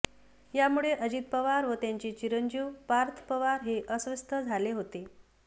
यामुळे अजित पवार व त्यांचे चिरंजीव पार्थ पवार हे अस्वस्थ झाले होते